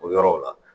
O yɔrɔw la